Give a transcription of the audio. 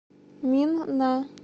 минна